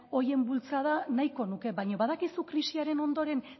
horien bultzada nahiko nuke baina badakizu krisiaren ondoren